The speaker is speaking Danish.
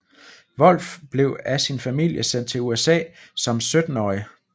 Volf blev af sin familie sendt til USA som syttenårig